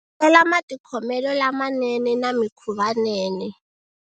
Tshikelela matikhomelo lamanene na mikhuvanene.